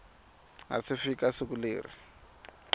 nga si fika siku leri